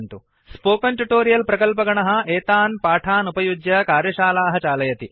spoken tutorial प्रकल्पगणः एतान् पाठान् उपयुज्य कार्यशालाः चालयति